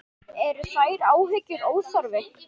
Eru þær áhyggjur óþarfi?